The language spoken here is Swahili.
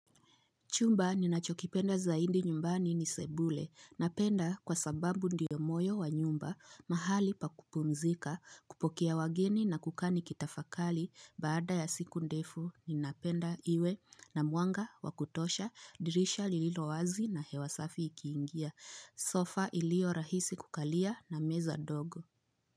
Chumba ninachokipenda zaidi nyumbani ni sebule. Napenda kwa sababu ndiyo moyo wa nyumba, mahali pa kupumzika, kupokea wageni na kukaa nikitafakari baada ya siku ndefu ninapenda iwe na mwanga wa kutosha, dirisha lililo wazi na hewasafi ikiingia. Sofa ilioyorahisi kukalia na meza ndogo.